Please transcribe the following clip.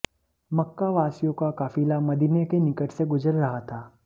मक्का वासियों का काफ़िला मदीने के निकट से गुज़र रहा था